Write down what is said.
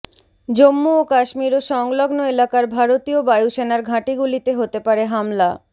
জম্মু ও কাশ্মীর ও সংলগ্ন এলাকার ভারতীয় বায়ুসেনার ঘাঁটিগুলিতে হতে পারে হামলা